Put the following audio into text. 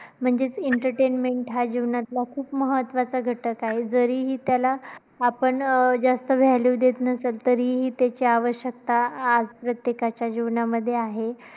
म्हणजेच entertainment हा जीवनातल्या खूप महत्त्वाचा घटक आहे. जरी त्याला आपण जास्त value देत नसेल तरीही त्याची आवश्यकता आज प्रत्येकाच्या जीवनामध्ये आहे.